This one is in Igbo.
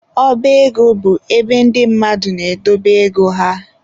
Ọba ego bụ ebe ndị mmadụ na-edobe ego ha.